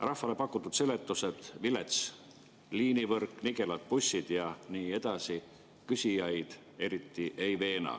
Rahvale pakutud seletused – vilets liinivõrk, nigelad bussid ja nii edasi – küsijaid eriti ei veena.